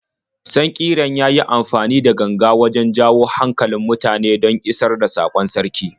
Sankiran ya yi amfani da ganga wajen jawo hankalin mutane don ya isar da saƙon sarki.